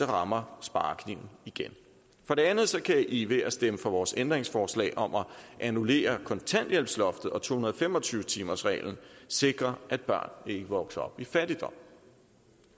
rammer sparekniven igen dernæst kan i ved at stemme for vores ændringsforslag om at annullere kontanthjælpsloftet og to hundrede og fem og tyve timersreglen sikre at børn ikke vokser op i fattigdom